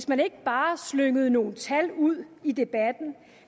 man ikke bare slyngede nogle tal ud i debatten